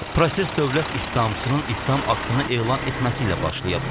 Proses dövlət ittihamçısının ittiham aktını elan etməsi ilə başlayıb.